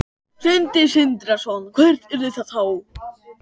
Sindri Sindrason: Hvert yrði það þá?